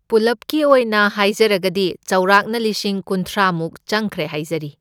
ꯄꯨꯜꯂꯞꯀꯤ ꯑꯣꯏꯅ ꯍꯥꯏꯖꯔꯒꯗꯤ ꯆꯥꯎꯔꯥꯛꯅ ꯂꯤꯁꯤꯡ ꯀꯨꯟꯊ꯭ꯔꯥꯃꯨꯛ ꯆꯪꯈ꯭ꯔꯦ ꯍꯥꯏꯖꯔꯤ꯫